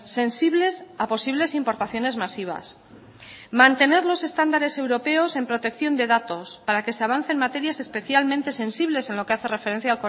sensibles a posibles importaciones masivas mantener los estándares europeos en protección de datos para que se avance en materias especialmente sensibles en lo que hace referencia